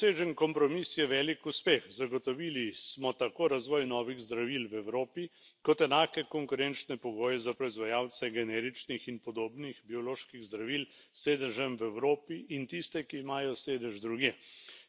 Dosežen kompromis je velik uspeh zagotovili smo tako razvoj novih zdravil v Evropi kot enake konkurenčne pogoje za proizvajalce generičnih in podobnih bioloških zdravil s sedežem v Evropi in tiste, ki imajo sedež drugje.